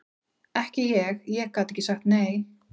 Ekki ég, ég gat ekki sagt nei.